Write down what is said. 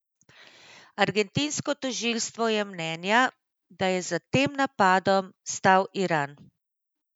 Argentinsko tožilstvo je mnenja, da je za tem napadom stal Iran.